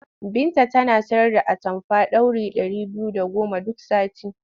Binta tana sayar da atamfa ɗauri ɗari biyu da goma duk sati.